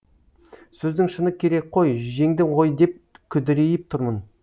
сөздің шыны керек қой жеңді ғой деп күдірейіп тұрмын